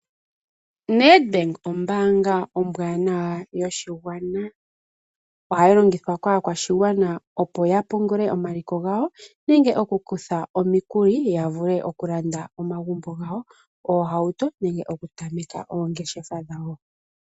NedBank ombaanga ombwanawa yoshigwana. Ohayi longithwa kaakwashigwana opo ya pungule omaliko gawo nenge okukutha omikuli ya vule okulanda omagumbo gawo, oohauto nenge okutameka oongeshefa dhawo.